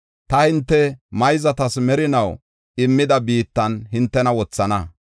ta hinte mayzatas merinaw immida biittan hintena wothana.